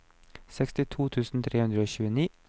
sekstito tusen tre hundre og tjueni